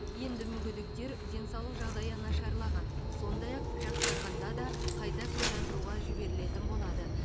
енді мүгедектер денсаулық жағдайы нашарлаған сондай ақ жақсарғанда да қайта куәландыруға жіберілетін болады